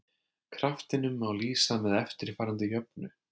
Kraftinum má lýsa með eftirfarandi jöfnu: